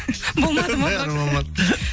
болмады ма бәрібір болмады